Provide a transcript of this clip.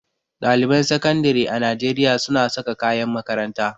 Ɗaliban sakandire a Najeriya suna saka kayan makaranta.